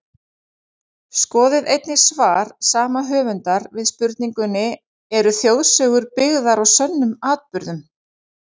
Skoðið einnig svar sama höfundar við spurningunni Eru þjóðsögur byggðar á sönnum atburðum?